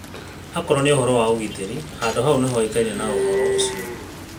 Akorũo nĩ ũhoro wa ũgitĩri, handũ hau nĩhoĩkaine na uhoro ũcio.